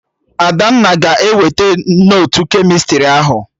Adanna ga-eweta notu kemịstrị ahụ